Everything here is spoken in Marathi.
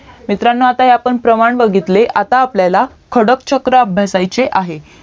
मित्रांनो आपण प्रमाण बघितले आता आपल्याला खडक चक्र अभ्यासायचे आहे